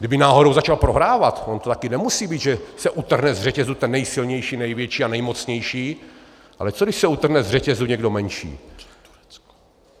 Kdyby náhodou začal prohrávat - ono to taky nemusí být, že se utrhne z řetězu ten nejsilnější, největší a nejmocnější, ale co když se utrhne z řetězu někdo menší?